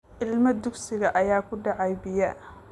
Ilmo dugsiyeed ayaa ku dhacay biyaha.